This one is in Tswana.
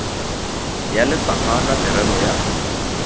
ya lefapha la merero ya